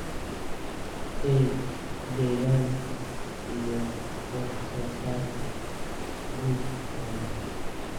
ee deegaanka iyo wax soo saarka quudka xoolaha.